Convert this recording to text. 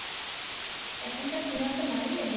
এখনকার cinema তো নাম ই জানি না